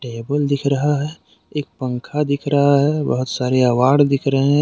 Table दिख रहा है एक पंखा दिख रहा है बहुत सारे अवार्ड दिख रहे हैं।